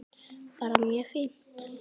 Bara mjög fínt.